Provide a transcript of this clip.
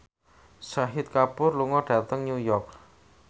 Shahid Kapoor lunga dhateng New York